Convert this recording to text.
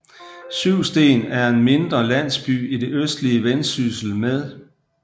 Syvsten er en mindre landsby i det østlige Vendsyssel med